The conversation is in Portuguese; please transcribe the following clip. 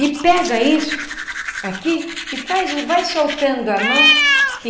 E pega isso aqui e vai vai soltando a mão.